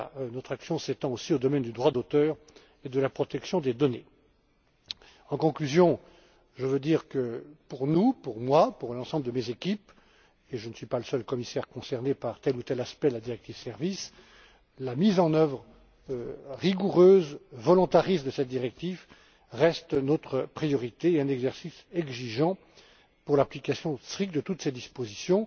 Notre action s'étend aussi au domaine du droit d'auteur et de la protection des données. Je dirai pour conclure que pour nous, pour moi et pour l'ensemble de mes équipes je ne suis pas le seul commissaire concerné par tel ou tel aspect de la directive sur les services la mise en œuvre rigoureuse, volontariste de cette directive reste notre priorité et un exercice exigeant pour l'application stricte de toutes ses dispositions.